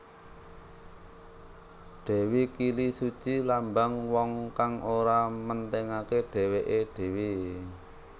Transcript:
Dewi Kilisuci lambang wong kang ora mentingaké dhéwéké dhéwé